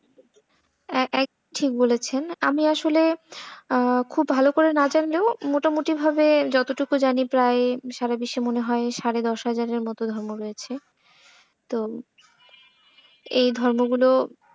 ঠিক বলেছিলেন আমি আসলে খুব ভালো করে না জানলেও মোটামুটি ভাবি যতোটুকু জানি প্রায় সারা বিশ্বে মনে হয় সাড়ে হাজারের মতো ধর্ম রয়েছে। তো এই ধর্মগুলো,